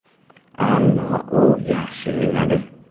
Ammo u yaxshi o‘ynadi.